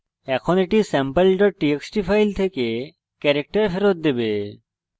এখন এটি sample txt file থেকে ক্যারেক্টার ফেরত দেবে